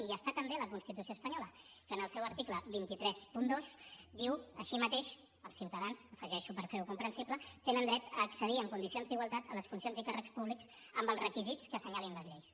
i hi està també la constitució espanyola que en el seu article dos cents i trenta dos diu així mateix els ciutadans ho afegeixo per fer ho comprensible tenen dret d’accedir en condicions d’igualtat a les funcions i càrrecs públics amb els requisits que assenyalin les lleis